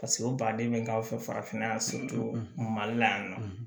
Paseke o baden bɛ k'aw fɛ farafinna yan mali la yan nɔ